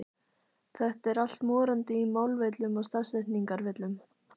Þetta er allt morandi í málvillum og stafsetningarvillum!